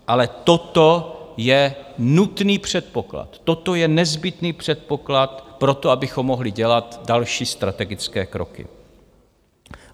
Ale toto je nutný předpoklad, toto je nezbytný předpoklad proto, abychom mohli dělat další strategické kroky.